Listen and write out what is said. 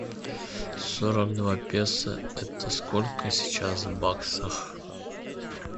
сорок два песо это сколько сейчас в баксах